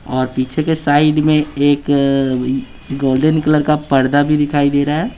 और पीछे के साइड में एक गोल्डन कलर का पर्दा भी दिखाई दे रहा है।